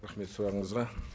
рахмет сұрағыңызға